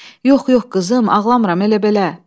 Yox, yox, qızım, ağlamıram, elə-belə.